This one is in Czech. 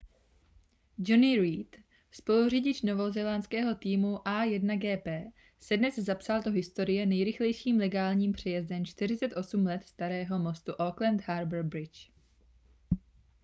jonny reid spoluřidič novozélandského týmu a1gp se dnes zapsal do historie nejrychlejším legálním přejezdem 48 let starého mostu auckland harbour bridge